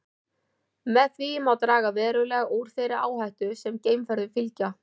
Með því má draga verulega úr þeirri áhættu sem geimferðum fylgja.